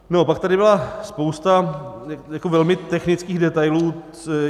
No a pak tady byla spousta velmi technických detailů.